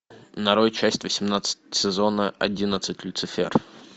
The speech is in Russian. нарой часть восемнадцать сезона одиннадцать люцифер